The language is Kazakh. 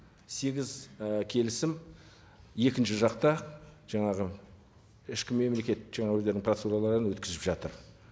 сегіз і келісім екінші жақта жаңағы ішкі мемлекет жаңа өздерінің процедураларын өткізіп жатыр